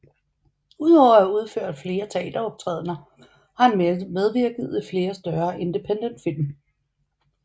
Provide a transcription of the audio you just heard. Udover at have udført flere teateroptrædener har han medvirket i flere større independentfilm